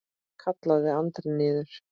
kallaði Andri niður.